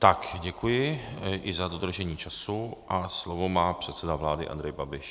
Tak, děkuji i za dodržení času a slovo má předseda vlády Andrej Babiš.